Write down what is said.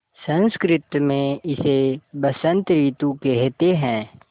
संस्कृत मे इसे बसंत रितु केहेते है